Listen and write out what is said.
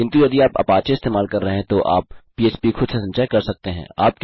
किन्तु यदि आप अपाचे इस्तेमाल कर रहे हैं तो आप पह्प खुद से संचय कर सकते हैं